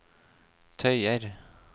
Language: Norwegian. tøyer